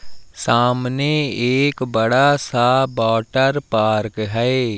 सामने एक बड़ा सा वाटर पार्क है।